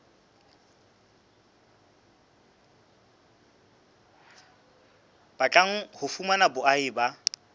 batlang ho fumana boahi ba